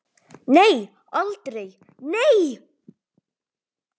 Nei, aldrei, nei!